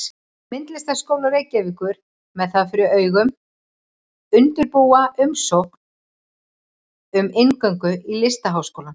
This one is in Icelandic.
Myndlistarskóla Reykjavíkur með það fyrir augum að undirbúa umsókn um inngöngu í Listaháskólann.